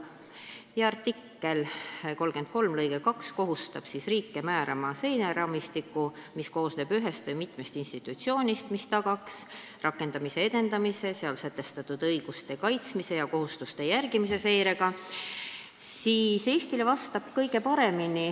Selle artikli 33 lõige 2 kohustab riike määrama seireraamistiku, mis koosneb ühest või mitmest institutsioonist, mis tagaks rakendamise edendamise, seal sätestatud õiguste kaitsmise ja kohustuste täitmise seire abil jälgimise.